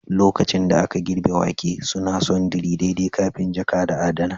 lokacin da aka girbe wake, suna sundry daidai kafin jaka da adana